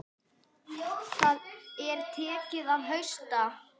Það er tekið að hausta.